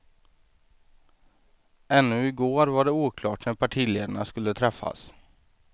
Ännu i går var det oklart när partiledarna skulle träffas.